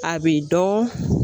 A bi dɔ